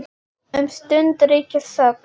Um stund ríkir þögn.